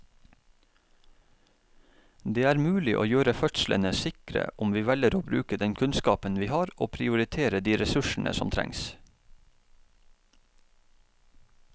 Det er mulig å gjøre fødslene sikre om vi velger å bruke den kunnskapen vi har og prioritere de ressursene som trengs.